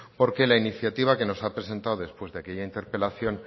porque la iniciativa que nos ha presentado después de aquella interpelación